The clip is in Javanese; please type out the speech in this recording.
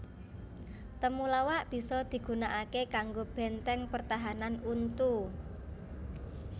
Temulawak bisa digunakaké kanggo bèntèng pertahanan untu